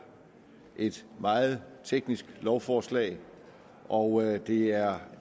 et meget teknisk lovforslag og det er